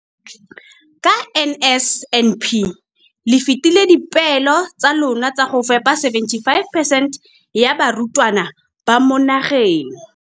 Ka NSNP le fetile dipeelo tsa lona tsa go fepa masome a supa le botlhano a diperesente ya barutwana ba mo nageng.